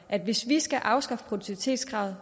at hvis vi skal afskaffe produktivitetskravet